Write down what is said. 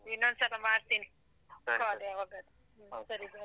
ಇನ್ನೊಂದ್ಸಲ ಮಾಡ್ತೀನಿ. ಹ್ಮ ಸರಿ bye.